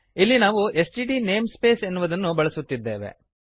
ಇಲ್ಲಿ ನಾವು STD namespace ಎನ್ನುವುದನ್ನು ಬಳಸುತ್ತಿದ್ದೇವೆ